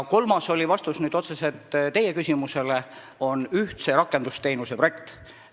Kolmas, see on vastus otseselt teie küsimusele, on ühtse rakendusteenuse projekt.